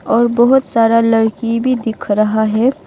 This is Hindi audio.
और बहोत सारा लड़की भी दिख रहा है।